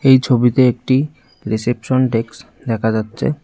এই ছবিতে একটি রিসেপশন ডেক্স দেখা যাচ্ছে।